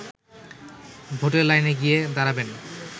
ভোটের লাইনে গিয়ে দাঁড়াবেন